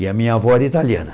E a minha avó era italiana.